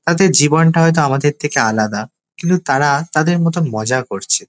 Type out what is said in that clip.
তাদের জীবনটা হয়তো আমাদের থেকে আলাদা কিন্তু তারা তাদের মতন মজা করছে।